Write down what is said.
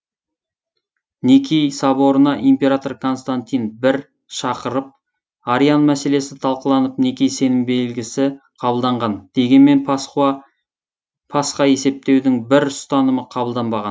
никей соборына император коснтантин бір шақырып ариан мәселесі талқыланып никей сенім белгісі қабылданған дегенмен пасха есептеудің бір ұстанымы қабылданбаған